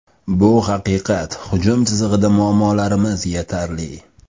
Bu haqiqat, hujum chizig‘ida muammolarimiz yetarli.